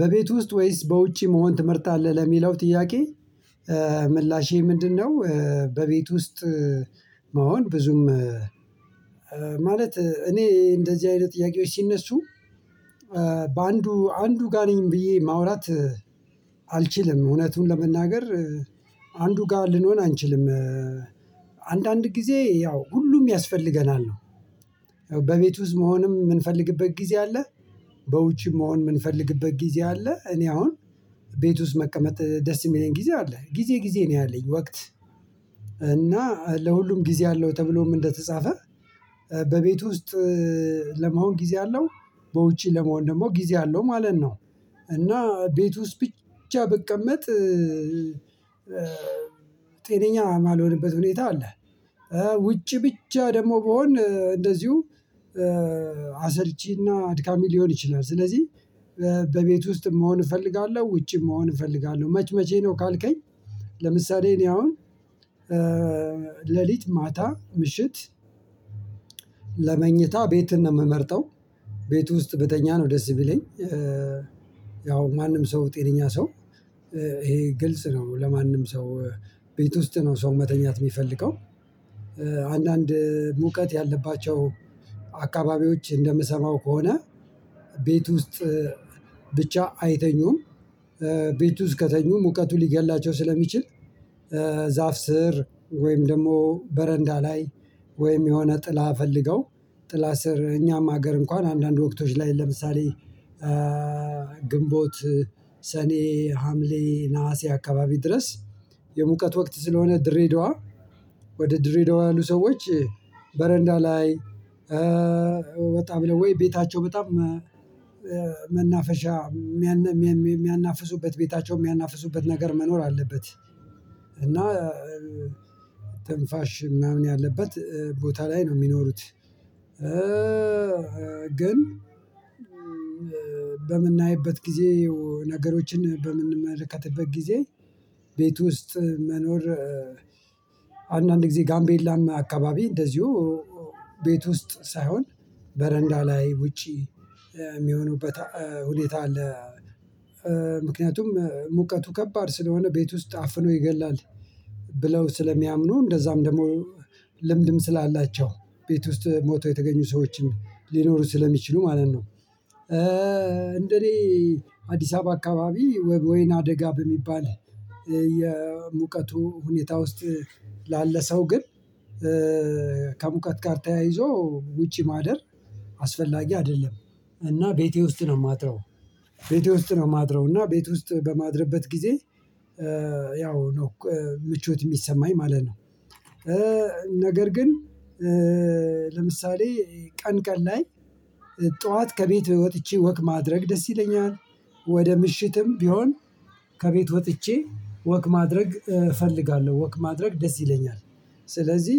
በቤት ውስጥ ወይስ በውጪ መሆን ትመርጣለህ ለሚለው ጥያቄ ምላሼ ምንድነው? በቤት ውስጥ። መሆን ብዙም ማለት እኔ እንደዚህ አይነት ጥያቄዎች ሲነሱ። በአንዱ አንዱ ጋር ነኝ ብዬ ማውራት። አልችልም እውነቱን ለመናገር። አንዱ ጋር ልሆን አንችልም። አንዳንድ ጊዜ ያው ሁሉም ያስፈልገናል ያው በቤቱ መሆንም የምንፈልግበት ጊዜ አለ። በውጪ መሆን የምንፈልግበት ጊዜ አለ። እኔ አሁን ቤት ውስጥ መቀመጥ ደስ የሚለኝ ጊዜ አለ ጊዜ ጊዜ ነው ያለኝ ወቅት። እና ለሁሉም ጊዜ አለው ተብሎም እንደተጻፈ በቤቱ ውስጥ ለመሆን ጊዜ አለው በውጪ ለመሆን ደግሞ ጊዜ አለው ማለት ነው። እና ቤት ውስጥ ብቻ ብቀመጥ ጤነኛ የማልሆንበት ሁኔታ አለ። ውጪ ብቻ ደግሞ ብሆን እንደዚሁ አሰልቺና አድካሚ ሊሆን ይችላል። ስለዚህ በቤት ውስጥ መሆን እፈልጋለሁ ውጪ መሆን እፈልጋለሁ መች መቼ ነው ካልከኝ? ለምሳሌ እኔ አሁን ሌሊት ማታ ምሽት ለመኝታ ቤት ነው የምመርጠው ቤት ውስጥ ብተኛ ነው ደስ ብለኝ። ያው ማንም ሰው ጤነኛ ሰው ይሄ ግልጽ ነው ለማንም ሰው ቤት ውስጥ ነው ሰው መተኛት የሚፈልገው። አንዳንድ ሙቀት ያለባቸው አካባቢዎች እንደምሰማው ከሆነ ቤት ውስጥ ብቻ አይተኙም ቤቱ እስከተኙ ሙቀቱ ሊገድላቸው ስለሚችል። ዛፍ ስር ወይም ደግሞ በረንዳ ላይ ወይም የሆነ ጥላ ፈልገው ጥላ ስር እኛም ሀገር እንኳን አንዳንድ ወቅቶች ላይ ለምሳሌ ግንቦት ሰኔ ሀምሌ ነሀሴ አካባቢ ድረስ የሙቀት ወቅት ስለሆነ ድሬዳዋ ወደ ድሬዳዋ ያሉ ሰዎች በረንዳ ላይ በጣም ብለው ወይ ቤታቸው በጣም መናፈሻ የሚያናፍሱበት ቤታቸው የሚያናፍሱበት ነገር መኖር አለበት። እና ትንፋሽ ምናምን ያለበት ቦታ ላይ ነው የሚኖሩት። ግን በምናይበት ጊዜ ነገሮችን በምንመለከትበት ጊዜ ቤት ውስጥ መኖር አንዳንድ ጊዜ ጋምቤላም አከባቢ እንደዚሁ ቤት ውስጥ ሳይሆን በረንዳ ላይ ውጪ የሚሆኑበት ሁኔታ አለ። ምክንያቱም ሙቀቱ ከባድ ስለሆነ ቤት ውስጥ አፍኖ ይገላል። ብለው ስለሚያምኑ እንደዛም ደግሞ ልምድም ስላላቸው ቤት ውስጥ ሞተው የተገኙ ሰዎችን ሊኖሩ ስለሚችሉ ማለት ነው። እንደኔ አዲስ አበባ አከባቢ ወይና አደጋ በሚባል የሙቀቱ ሁኔታ ውስጥ ላለ ሰው ግን ከሙቀት ጋር ተያይዞ ውጪ ማደር አስፈላጊ አይደለም። እና ቤቴ ውስጥ ነው የማድረው ቤቴ ውስጥ ነው የማድረው እና ቤት ውስጥ በማድረበት ጊዜ ያው ነው ምቾት የሚሰማኝ ማለት ነው። ነገር ግን ለምሳሌ ቀን ቀን ላይ ጠዋት ከቤት ወጥቼ ወክ ማድረግ ደስ ይለኛል ወደ ምሽትም ቢሆን ከቤት ወጥቼ ወክ ማድረግ እፈልጋለሁ ወክ ማድረግ ደስ ይለኛል። ስለዚህ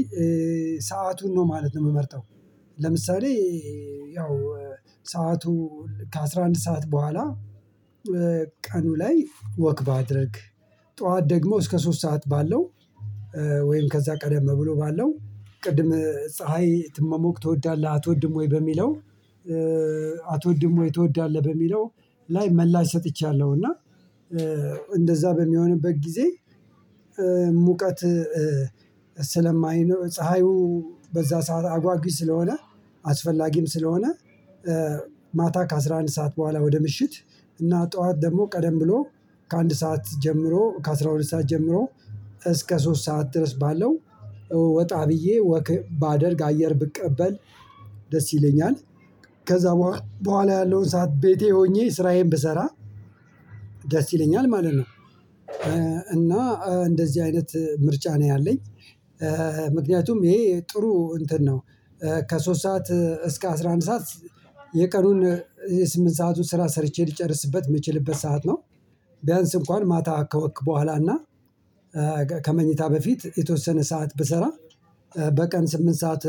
ሰአቱን ነው ማለት ነው የምመርጠው። ለምሳሌ ያው ሰዓቱ ከአሥራ አንድ ሰዓት በኋላ ቀኑ ላይ ወክ ባደርግ ጠዋት ደግሞ እስከ ሶስት ሰዓት ባለው ወይም ከዛ ቀደም ብሎ ባለው ቅድም ፀሀይ መሞቅ ትወዳለህ አትወድም ወይ በሚለው? አትወድም ወይ ትወዳለህ በሚለው? ላይ ምላሽ ሰጥቻለሁ እና እንደዛ በሚሆንበት ጊዜ ሙቀት ስለማይኖር ፀሀዩ በዛ ሰዓት አጓጊ ስለሆነ አስፈላጊም ስለሆነ ማታ ከአሥራ አንድ ሰዓት በኋላ ወደ ምሽት እና ጠዋት ደግሞ ቀደም ብሎ ከአንድ ሰዓት ጀምሮ ከአሥራ ሁለት ሰዓት ጀምሮ እስከ ሶስት ሰዓት ድረስ ባለው ወጣ ብዬ ወክ ባደርግ አየር ብቀበል ደስ ይለኛል። ከዛ በኋላ ያለውን ሰዓት ቤቴ ሆኜ ስራዬን ብሰራ ደስ ይለኛል ማለት ነው። እና እንደዚህ አይነት ምርጫ ነው ያለኝ። ምክንያቱም ይሄ ጥሩ እንትን ነው ከሶስት ሰዓት እስከ አስራ አንድ ሰዓት የቀኑን የስምንት ሰአቱን ስራ ሰርቼ ልጨርስበት የምችልበት ሰዓት ነው። ቢያንስ እንኳን ማታ ከወክ በኋላ እና ከመኝታ በፊት የተወሰነ ሰዓት ብሰራ በቀን ስምንት ሰዓት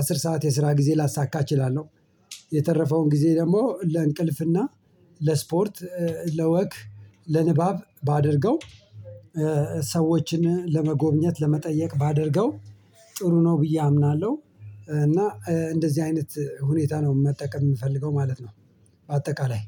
አስር ሰዓት የስራ ጊዜ ላሳካ እችላለሁ። የተረፈውን ጊዜ ደግሞ ለእንቅልፍና ለስፖርት ለወክ ለንባብ ባደርገው ሰዎችን ለመጎብኘት ለመጠየቅ ባደርገው ጥሩ ነው ብዬ አምናለሁ። እና እንደዚህ አይነት ሁኔታ ነው መጠቀም የምፈልገው ማለት ነው። በአጠቃላይ